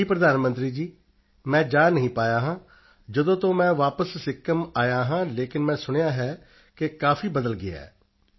ਜੀ ਪ੍ਰਧਾਨ ਮੰਤਰੀ ਜੀ ਮੈਂ ਜਾ ਨਹੀਂ ਪਾਇਆ ਹਾਂ ਜਦੋਂ ਤੋਂ ਮੈਂ ਵਾਪਸ ਸਿੱਕਿਮ ਆਇਆ ਹਾਂ ਲੇਕਿਨ ਮੈਂ ਸੁਣਿਆ ਹੈ ਕਿ ਕਾਫੀ ਬਦਲ ਗਿਆ ਹੈ